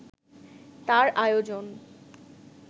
তার আয়োজন